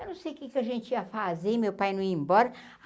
Eu não sei o que é que a gente ia fazer, meu pai não ia embora.